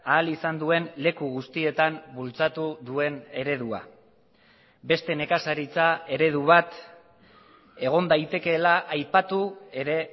ahal izan duen leku guztietan bultzatu duen eredua beste nekazaritza eredu bat egon daitekeela aipatu ere